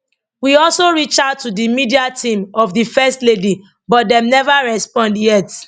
we also reach out to di media team of di first lady but dem neva respond yet